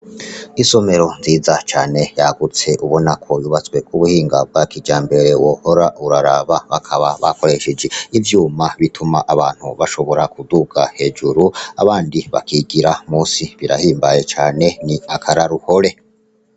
Isomero ryiza cane ryagutse ubona ko ryubatswe kubuhinga bwa kijambere wohora uraraba, bakaba bakoresheje ivyuma bituma abantu bashobora kuduga hejuru abandi bakigira musi, birahimbaye cane n'akaroruhore.